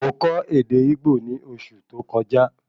Mo kọ ède Igbo ní oṣù tó kọjá